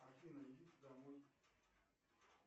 афина идите домой